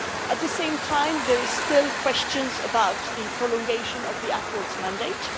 At the same time, there are still questions about the prolongation of the accords mandate.